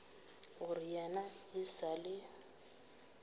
gore yena e sa le